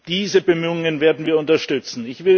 Diese Bemühungen werden wir unterstützen.